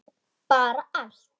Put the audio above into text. Bara allt.